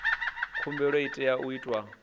khumbelo i tea u itwa